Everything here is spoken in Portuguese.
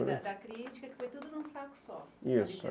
da crítica, foi tudo em um só, isso...